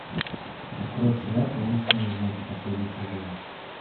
открой сериал таинственные знаки последний сезон